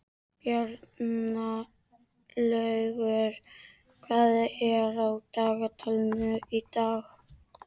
Bjarnlaugur, hvað er á dagatalinu í dag?